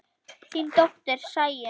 Þín dóttir, Sæunn.